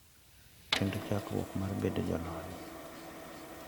Kendo chakruok mar bedo jolony